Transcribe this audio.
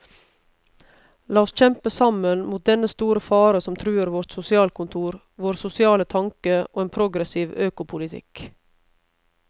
La oss kjempe sammen mot dennne store fare som truer vårt sosialkontor, vår sosiale tanke og en progressiv økopolitikk.